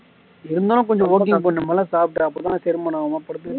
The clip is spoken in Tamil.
இருந்தாலும் கொஞ்சம் கூட சாப்பிடு அப்படித்தான் செரிமானம் ஆகும் படுத்துட்டா